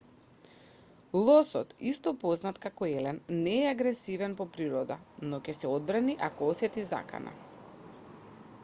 лосот исто познат како елен не е агресивен по природа но ќе се одбрани ако осети закана